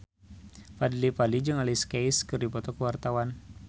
Fadly Padi jeung Alicia Keys keur dipoto ku wartawan